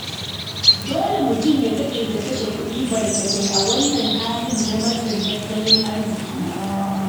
Dole mutum ya taƙaita kashe kuɗi barkatai a wannan hali na matsin tattalin arziki.